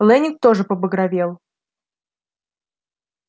лэннинг тоже побагровел